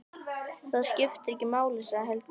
Það skiptir ekki máli, sagði Helgi.